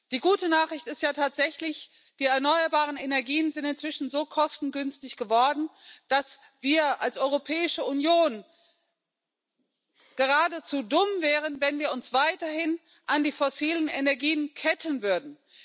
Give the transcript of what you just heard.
Die gute Nachricht ist ja tatsächlich Die erneuerbaren Energien sind inzwischen so kostengünstig geworden, dass wir als Europäische Union geradezu dumm wären, wenn wir uns weiterhin an die fossilen Energien ketten würden.